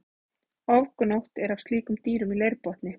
Ofgnótt er af slíkum dýrum í leirbotni.